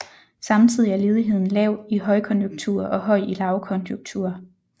Samtidig er ledigheden lav i højkonjunkturer og høj i lavkonjunkturer